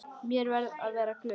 Ég verði að vera glöð.